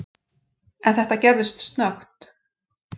En þetta gerðist snöggt.